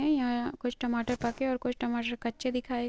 यहाँ कुछ टमाटर पके और कुछ टमाटर कच्चे दिखाए --